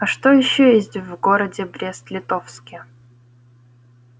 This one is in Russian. а что ещё есть в городе брест-литовске